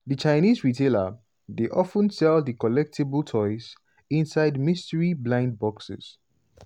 di chinese retailer dey of ten sell di collectable toys inside mystery "blind boxes".